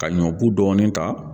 Ka ɲɔ bu dɔɔni ta